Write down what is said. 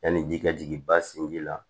Yanni ji ka jigin ba sinji la